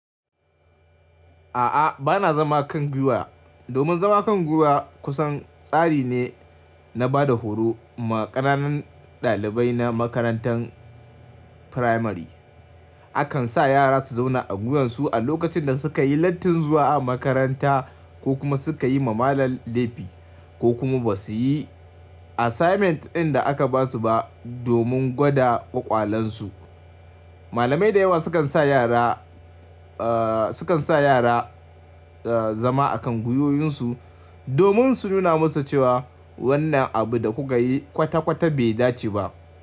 A'a, ba na zama kan gwiwa. Domin zama kan gwiwa kusan tsari ne na ba da horo ma ƙananan ɗalibai na makarantar firamare. Akan sa yara su zauna a gwiwansu a lokacin da suka yi lattin zuwa a makaranta ko kuma suka yi ma malam laifi ko kuma ba su yi assignment ɗin da aka ba su ba domin gwada ƙwaƙwalansu. Malamai da yawa sukan sa yara, eh sukan sa yara eh zama a kan gwiwoyinsu domin su nuna musu cewa wannan abu da kuka yi kwata kwata bai dace ba.